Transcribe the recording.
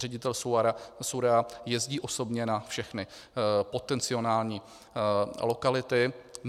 Ředitel SÚRAO jezdí osobně na všechny potenciální lokality.